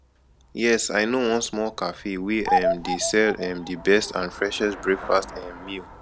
yes i know one small cafe wey um dey sell um di best and freshest breakfast um meal